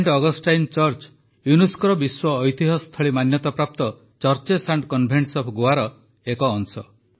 scent Augustine church ୟୁନେସ୍କୋର ବିଶ୍ୱ ଐତିହ୍ୟସ୍ଥଳୀ ମାନ୍ୟତାପ୍ରାପ୍ତ ଚର୍ଚ୍ଚେସ୍ ଆଣ୍ଡ୍ କନଭେଟସ ଅଫ୍ ଗୋଆର ଏକ ଅଂଶ